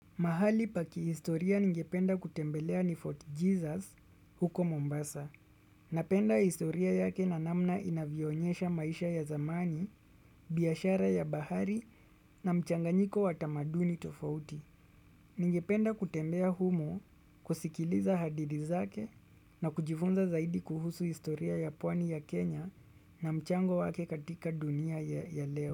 Mahali pa kihistoria ningependa kutembelea ni Fort Jesus huko Mombasa. Napenda historia yake na namna inavyoonyesha maisha ya zamani, biashara ya bahari na mchanganyiko wa tamaduni tofauti. Ningependa kutembea humo, kusikiliza hadithi zake na kujifunza zaidi kuhusu historia ya pwani ya Kenya na mchango wake katika dunia ya leo.